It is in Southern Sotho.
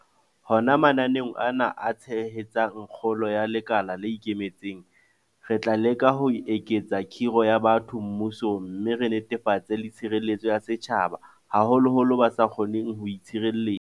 Hona mananeong ana a tshehetsang kgolo ya lekala le ikemetseng, re tla leka ho eketsa kgiro ya batho mmusong mme re netefatse le tshireletso ya setjhaba, haholoholo ba sa kgoneng ho itshireletsa.